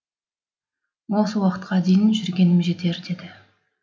осы уақытқа дейін жүргенім жетер деді